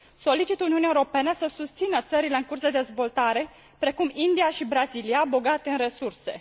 Solicit Uniunii Europene să susțină țările în curs de dezvoltare, precum India și Brazilia, bogate în resurse.